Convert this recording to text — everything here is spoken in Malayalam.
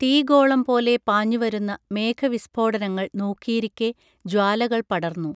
തീഗോളം പോലെ പാഞ്ഞുവരുന്ന മേഘവിസ്ഫോടനങ്ങൾ നോക്കിയിരിക്കെ ജ്വാലകൾ പടർന്നു